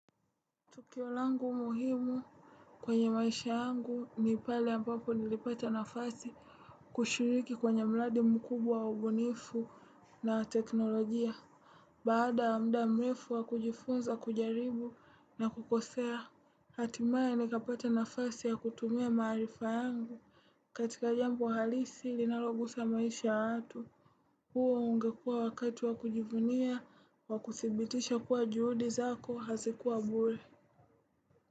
Tukio langu muhimu kwenye maisha yangu ni pale ambapo nilipata nafasi kushiriki kwenye mradi mkubwa wa ubunifu na teknolojia. Baada ya mda mrefu wa kujifunza kujaribu na kukosea, hatimaye nikapata nafasi ya kutumia maarifa yangu. Katika jambo halisi linalogusa maisha ya watu. Huo ungekua wakati wa kujivunia wa kuthibitisha kuwa juhudi zako hazikuwa bure.